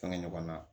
Fɛngɛ ɲɔgɔnna